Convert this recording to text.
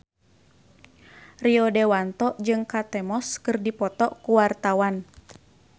Rio Dewanto jeung Kate Moss keur dipoto ku wartawan